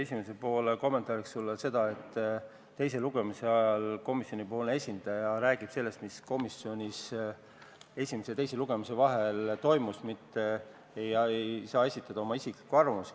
Esimese poole kommentaariks ütlen sulle seda, et teise lugemise ajal räägib komisjoni esindaja sellest, mis komisjonis esimese ja teise lugemise vahel toimus, mitte ei saa esitada oma isiklikku arvamust.